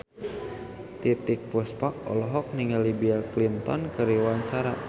Titiek Puspa olohok ningali Bill Clinton keur diwawancara